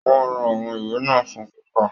Wọn rà àwọn ìwé náà fún kíkà.